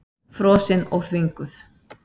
Frosin og þvinguð.